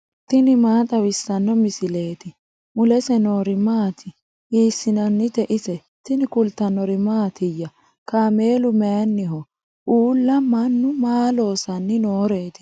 tini maa xawissanno misileeti ? mulese noori maati ? hiissinannite ise ? tini kultannori mattiya? Kaameelu mayiinniho? Uulla mannu maa loosanni nooreetti?